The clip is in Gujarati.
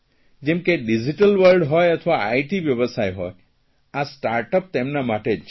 જેમ કે ડીઝીટલ વર્લ્ડ હોય અથવા આઇટી વ્યવસાય હોય આ સ્ટાર્ટઅપ તેમના માટે જ છે